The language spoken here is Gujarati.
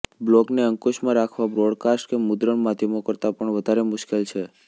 બ્લોગને અંકુશમાં રાખવા બ્રોડકાસ્ટ કે મુદ્રણ માધ્યમો કરતાં પણ વધારે મુશ્કેલ છે